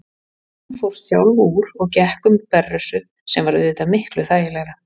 Hún fór sjálf úr og gekk um berrössuð, sem var auðvitað miklu þægilegra.